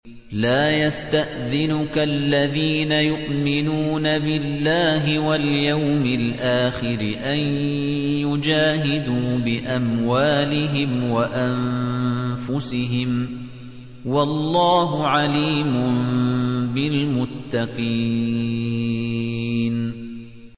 لَا يَسْتَأْذِنُكَ الَّذِينَ يُؤْمِنُونَ بِاللَّهِ وَالْيَوْمِ الْآخِرِ أَن يُجَاهِدُوا بِأَمْوَالِهِمْ وَأَنفُسِهِمْ ۗ وَاللَّهُ عَلِيمٌ بِالْمُتَّقِينَ